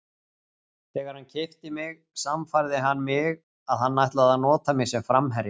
Þegar hann keypti mig sannfærði hann mig að hann ætlaði að nota mig sem framherja.